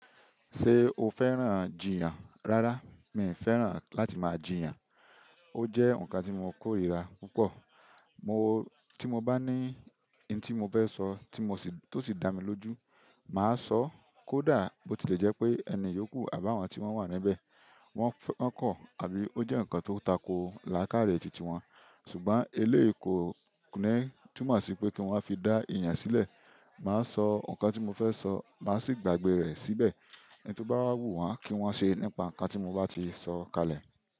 Ṣé o fẹ́ràn jìyàn? Rárá, mi fẹ́ràn láti máa jìyàn. Ó jẹ́ nǹkan tí mo kórìíra púpọ̀. Mo-- tí mo bá ní n tí mo fẹ́ sọ tí mo sì, tó sì dá mi lójú, mà á sọ. Kódà bó ti lè jẹ́ pé ẹni yókù àbá àwọn tí wọ́n wà níbẹ̀, wọ́n kọ̀ àbí ó jẹ́ ǹkan tó tako lákàáre titi wọn, ṣùgbọ́n eléyi ko kò ní túmọ̀ sí pé kí n wá fi dá èèyàn sílẹ̀. Mà á sọ nǹkan tí mo fẹ́ sọ, mà á sì gbàgbé rẹ̀ síbẹ̀. Ohun tó bá wù wọ́n kí wọ́n ṣe nípa nǹkan tí mo bá ti sọ kalẹ̀.